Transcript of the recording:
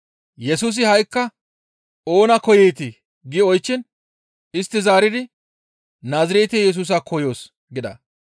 Yesusi ha7ikka, «Oona koyeetii?» gi oychchiin istti zaaridi, «Naazirete Yesusa koyoos» gida.